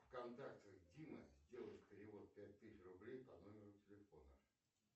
в контактах дима сделай перевод пять тысяч рублей по номеру телефона